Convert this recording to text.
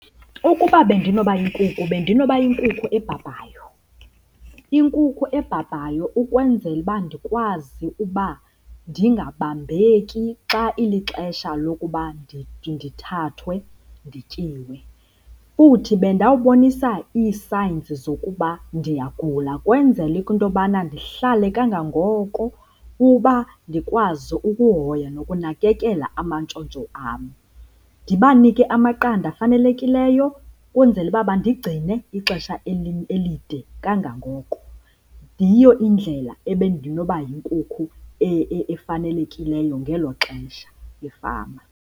Ukuba bendinoba yinkukhu bendinoba yinkukhu ebhabhayo, inkukhu ebhabhayo ukwenzela uba ndikwazi uba ndingabambeki xa ilixesha lokuba ndithathwe ndityiwe. Futhi bendawubonisa ii-signs zokuba ndiyagula kwenzela into yobana ndihlale kangangoko uba ndikwazi ukuhoya nokunakekela amantshontsho am. Ndibanike amaqanda afanelekileyo kwenzele uba bandigcine ixesha elide kangangoko. Yiyo indlela ebendinoba yinkukhu efanelekileyo ngelo xesha efama.